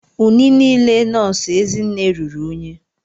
Uniile nọọsụ Ezinne ruru unyi.